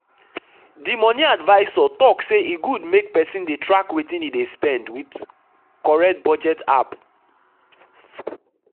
the money advisor talk say e good make person dey track wetin e dey spend with correct budget app.